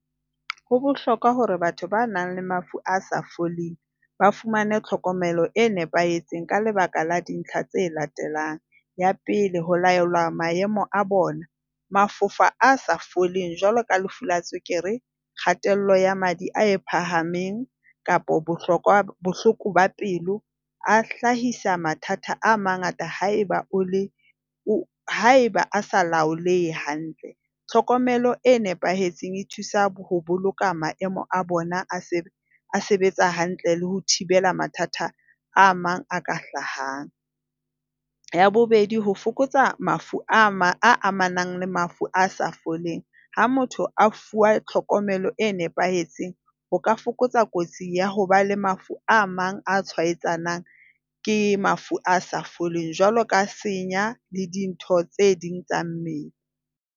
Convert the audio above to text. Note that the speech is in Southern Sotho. Ho bohlokwa hore batho ba nang le mafu a sa foleng ba fumane tlhokomelo e nepahetseng ka lebaka la dintlha tse latelang. Ya pele, ho laola maemo a bona. ba fofa a sa foleng jwalo ka lefu la tswekere, kgatello ya madi a e phahameng kapa bohlokwa bohloko pelo a hlahisa mathata a mangata haeba o le haeba a sa laolehe hantle. Tlhokomelo e nepahetseng e thusa ho boloka maemo a bona a se a sebetsa hantle le ho thibela mathata a mang a ka hlahang. Ya bobedi, ho fokotsa mafu a amanang le mafu a sa foleng. Ha motho a fuwa tlhokomelo e nepahetseng ho ka fokotsa kotsi ya ho ba le mafu a mang a tshwaetsanang ke mafu a sa foleng, jwalo ka senya le dintho tse ding tsa mmele.